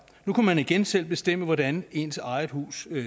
nu kunne man igen selv bestemme hvordan ens eget hus